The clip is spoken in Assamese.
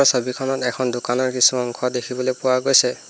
ছবিখনত এখন দোকানৰ কিছু অংশ দেখিবলৈ পোৱা গৈছে।